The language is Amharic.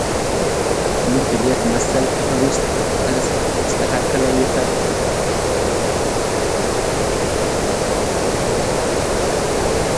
ትምህርት ቤት መሰል ክፍል ውስጥ በተስተካከለ የተ በ መንገድ የተደረደሩት በርካታ የእንጨትና የብረት ጠረጴዛዎች እና ወንበሮች በትክክል እንዴት ተሰብስበው ተቀምጠዋል?